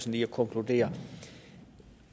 lige at konkludere